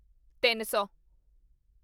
ਤਿੱਨ ਸੌ